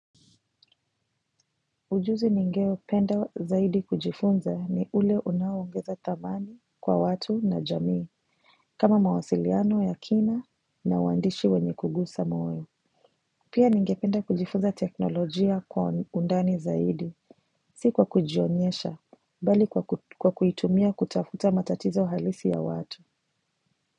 Ujuzi ningeupenda zaidi kujifunza ni ule unaongeza thamani kwa watu na jamii. Kama mawasiliano ya kina na uwandishi wenye kugusa moyo. Pia ningependa kujifunza teknolojia kwa undani zaidi. Siku kwa kujionyesha bali kwa kuitumia kutafuta matatizo halisi ya watu.